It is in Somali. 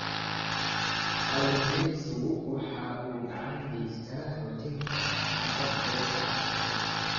Kalluumaysigu waxa uu gacan ka geystaa xoojinta haqab-beelka cuntada.